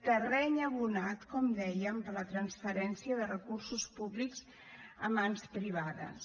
terreny abonat com dèiem per a la transferència de recursos públics a mans privades